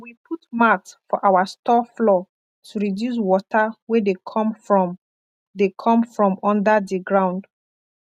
we put mat for our store floor to reduce water wey dey come from dey come from under di ground